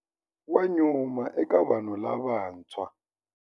Wa nyuma eka vanhu lavantshwa.